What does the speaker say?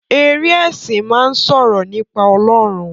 Eré esin máa n sọ̀rọ̀ nípa Ọlọrun.